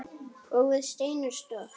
Og við stein er stopp.